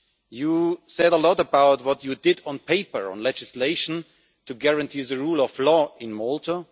You said a lot about what you did on paper on legislation to guarantee the rule of law in Malta.